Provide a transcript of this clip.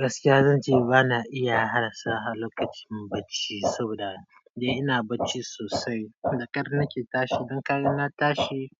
Gaskiya zan ce ba na iya hadasa lokacin bacci saboda dai ina bacci sosai. Da ƙar na ke tashi. Don ƙar na tashi